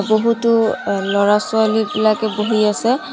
ছবিটো আ ল'ৰা-ছোৱালী বিলাকে বহি আছে।